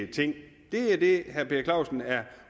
ting det er det herre per clausen er